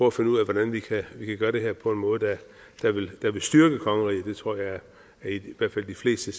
at finde ud af hvordan vi kan gøre det her på en måde der vil styrke kongeriget det tror jeg i hvert fald de fleste